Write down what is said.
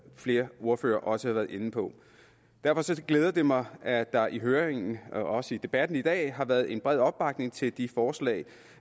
flere ordførere også har været inde på derfor glæder det mig at der i høringen og også i debatten i dag har været en bred opbakning til de forslag